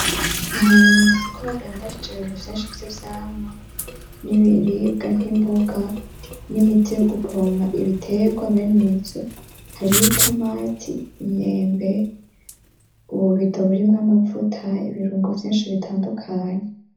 Ahantu mw'isoko badandarije n'ibiribwa nk'imboga n'imiti yo gupompa ibiterwa be nivyo. Hari ni tomati imyembe, ububito burimwo amavuta ibirungo vyinshi bitandukanye.